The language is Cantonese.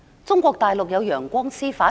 中國大陸有"陽光司法"？